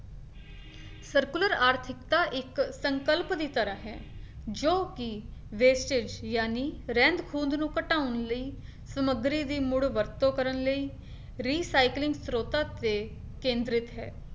circular ਆਰਥਿਕਤਾ ਇੱਕ ਸੰਕਲਪ ਦੀ ਤਰਾਂ ਹੈ, ਜੋ ਕੀ wastage ਜਾਣੀ ਰਹਿੰਦ-ਖੂੰਹਦ ਨੂੰ ਘਟਾਉਣ ਲਈ ਸਮੱਗਰੀ ਦੀ ਮੁੜ ਵਰਤੋਂ ਕਰਨ ਲਈ recycling ਸਰੋਤਾਂ ਤੇ ਕੇਂਦਰਿਤ ਹੈ